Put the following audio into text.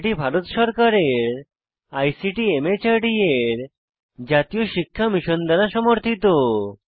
এটি ভারত সরকারের আইসিটি মাহর্দ এর জাতীয় শিক্ষা মিশন দ্বারা সমর্থিত